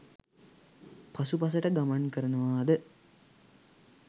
පසුපසට ගමන් කරනවාද